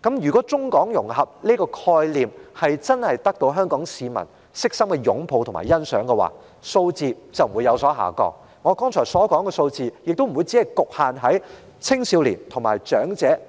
但要是中港融合這個概念真的得到香港市民衷心擁護和欣賞的話，整體數字便不會有所下降，而上升的數字亦不會只局限於青少年和長者的組別了。